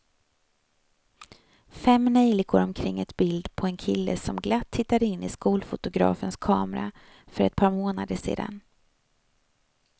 Fem neljikor omkring ett bild på en kille som glatt tittade in i skolfotografens kamera för ett par månader sedan.